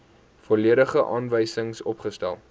volledige aanwysings opgestel